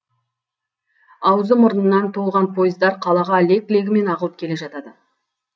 аузы мұрнынан толған пойыздар қалаға лек легімен ағылып келіп жатады